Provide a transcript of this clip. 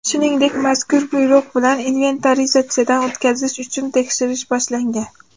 Shuningdek, mazkur buyruq bilan inventarizatsiyadan o‘tkazish uchun tekshirish boshlangan.